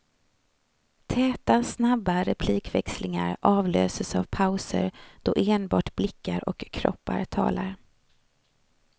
Täta, snabba replikväxlingar avlöses av pauser då enbart blickar och kroppar talar.